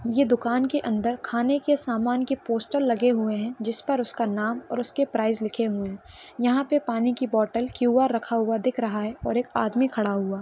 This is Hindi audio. ये दुकान के अंदर खाने के सामान के पोस्टर लगे हुए है जिसपर उसका नाम और उसके प्राइस लिखे हुए है यहा पे पानी की बोतल क्यूआर रखा हुआ दिख रहा है और एक आदमी खड़ा हुआ--